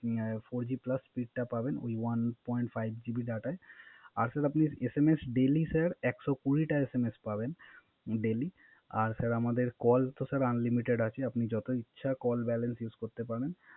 Four G Plus Speed টা পাবেন এই one point five GB ডাটায়। আর Sir SMS daily Sir একশত কুরি টা SMS পাবেন Daily আর Sir আমাদের কল তো Sir unlimited আছে আপনি যত ইচ্ছা Call balance Use করতে পারেন